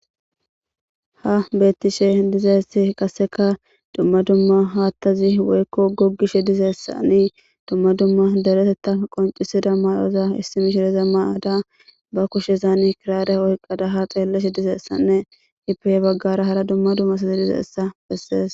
Ha betishe dizaysi waseka duma duma hathazi woylo gogishe dizaysani duma duma deereteta qoncisida mayoza issi mishiriya mayada ba kushezani kirara oykada ha Baga xeelashe dizaysanne ippe he bagara hara duma duma asati dizaysa besses.